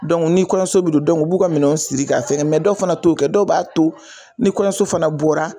ni kɔɲɔso bi don u b'u ka minɛn siri ka fɛngɛ dɔw fana to kɛ dɔw b'a to ni kɔɲɔso fana bɔra.